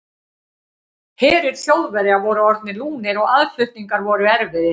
Herir Þjóðverja voru orðnir lúnir og aðflutningar voru erfiðir.